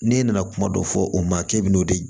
N'e nana kuma dɔ fɔ o ma k'e bɛ n'o de